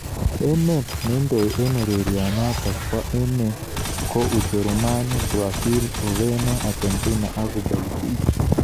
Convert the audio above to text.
Emet neindoi eng urerionotok bo emet ko Ujerumani, Brazil, Ureno, Argentina ak Ubelgiji.